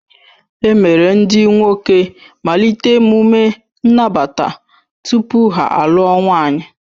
E mere ndị nwoke malite emume nnabata tupu ha alụọ nwaanyị